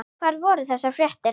Hvar voru þessar fréttir?